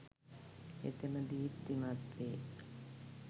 හෙතෙම දීප්තිමත් වේ.